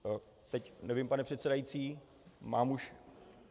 Teď nevím, pane předsedající, mám už...